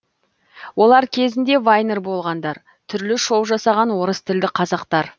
олар кезінде вайнер болғандар түрлі шоу жасаған орыс тілді қазақтар